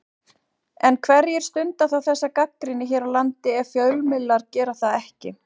En hverjir stunda þá þessa gagnrýni hér á landi ef fjölmiðlarnir gera það ekki?